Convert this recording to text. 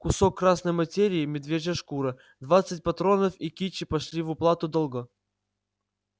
кусок красной материи медвежья шкура двадцать патронов и кичи пошли в уплату долга